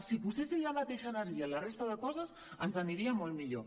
si posessin la mateixa energia en la resta de coses ens aniria molt millor